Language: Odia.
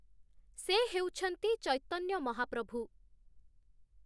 ସେ ହେଉଛନ୍ତି ଚୈତନ୍ୟ ମହାପ୍ରଭୁ ।